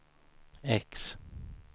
X